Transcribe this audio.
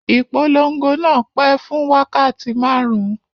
Ìpolon̄go náà pẹ́ fún wákàtí márùn-ún